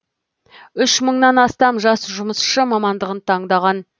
үш мыңнан астам жас жұмысшы мамандығын таңдаған